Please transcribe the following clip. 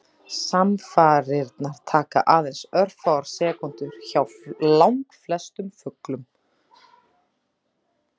Samfarirnar taka aðeins örfáar sekúndur hjá langflestum fuglum.